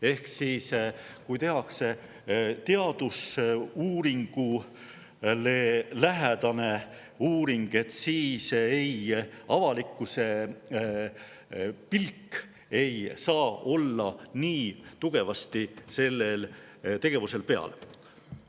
Ehk kui tehakse teadusuuringuga uuring, ei saa avalikkuse pilk nii tugevasti selle tegevuse peal olla.